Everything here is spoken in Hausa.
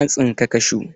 Na tsinka kashu.